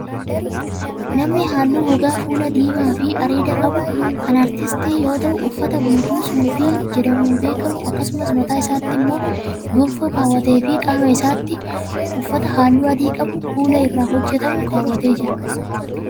Namni haalluu gogaa fuulaa diimaa fi areeda qabu kun, aartistii yoo ta'u, uffata guutuu suufii jedhamuun beekamu akkasumas mataa isaatti immoo gonfoo kaawwatee fi qaama isaatti uffata haalluu adii qabu kuula irraa hojjatamu kaawwatee jira.